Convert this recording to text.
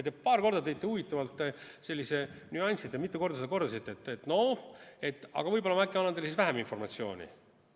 Te paar korda tõite huvitavalt sellise nüansi ja mitu korda seda kordasite: võib-olla ma annan teile siis vähem informatsiooni.